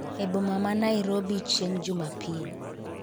eboma ma Nairobi chieng' jumapil